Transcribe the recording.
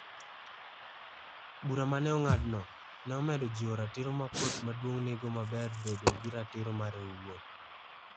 Bura ma ne ong'adno, ne omedo jiwo ratiro ma Kot Maduong' nigo mar bedo gi ratiro mare owuon.